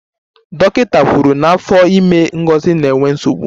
Dọkịta kwuru na afọ ime Ngozi na-enwe nsogbu